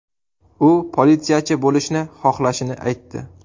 U politsiyachi bo‘lishni xohlashini aytdi.